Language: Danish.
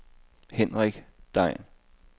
Henrik Degn